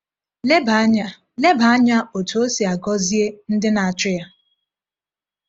Leba anya Leba anya otú O si agọzie ndị na-achụ ya.